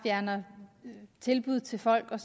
fjerner tilbud til folk og